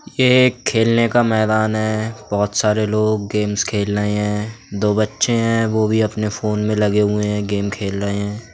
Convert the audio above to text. यह खेलने का मैदान है बहुत सारे लोग गेम्स खेल रहे हैं दो बच्चे हैं वो भी अपने फोन में लगे हुए हैं गेम खेल रहे हैं।